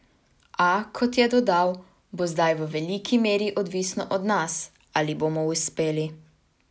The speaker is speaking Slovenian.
A, kot je dodal, bo zdaj v veliki meri odvisno od nas, ali bomo uspeli.